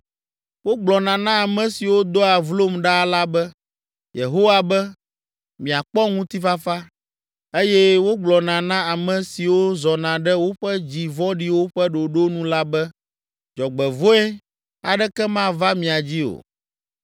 Wogblɔna na ame siwo doa vlom ɖaa la be, ‘Yehowa be: miakpɔ ŋutifafa’, eye wogblɔna na ame siwo zɔna ɖe woƒe dzi vɔ̃ɖiwo ƒe ɖoɖo nu la be, ‘Dzɔgbevɔ̃e aɖeke mava mia dzi o.’